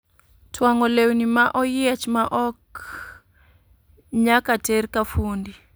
Twang'o lewni ma oyiech ma ok nyaka ter ka fundi